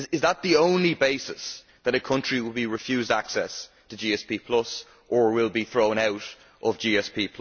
Is that the only basis on which a country will be refused access to GSP or will be thrown out of GSP?